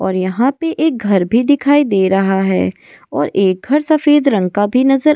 और यहां पर एक घर भी दिखाई दे रहा है और एक घर सफेद रंग का भी नजर।